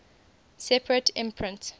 separate imprint